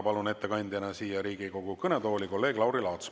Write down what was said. Palun ettekandjaks Riigikogu kõnetooli kolleeg Lauri Laatsi.